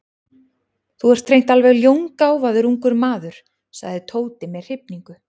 Þú ert hreint alveg ljóngáfaður ungur maður sagði Tóti með hrifningu.